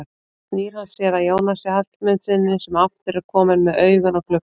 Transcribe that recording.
Svo snýr hann sér að Jónasi Hallmundssyni sem aftur er kominn með augun á gluggann.